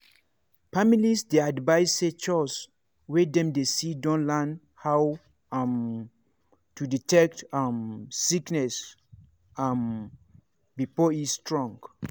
families dey advised say chws wey dem dey see don learn how um to detect um sickness um before e strong.